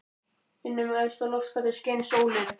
Inn um efsta loftgatið skein sólin.